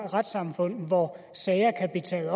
retssamfund hvor sager kan blive taget